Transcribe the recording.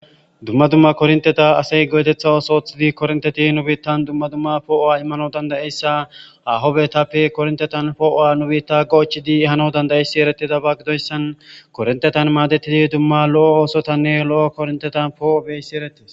Dumma dumma kornteta asey gootetha os oothidi kornteti nu biittan dumma dumma poo'o'a immano dandayeyssa ahobetappe korntetan poo'o'a nu biitta goochidi ehano dandayeyssi eretida ba gidoyssan korintetan maadettidi dumma lo'o oosotanne lo'o korntetan poo'o beyssi erettis.